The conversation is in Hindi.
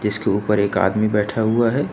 इसके ऊपर एक आदमी बैठा हुआ है।